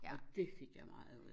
Og dét fik jeg meget ud af